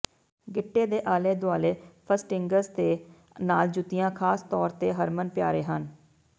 ਗਿੱਟੇ ਦੇ ਆਲੇ ਦੁਆਲੇ ਫਸਟਨਿੰਗਜ਼ ਦੇ ਨਾਲ ਜੁੱਤੀਆਂ ਖਾਸ ਤੌਰ ਤੇ ਹਰਮਨਪਿਆਰੇ ਹਨ